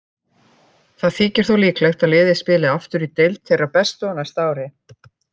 Það þykir þó líklegt að liðið spili aftur í deild þeirra bestu á næsta ári.